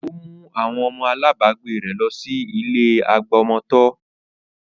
Ó mú àwọn ọmọ alábagbé rẹ̀ lọ sí ilé àgbà ọmọ tọ́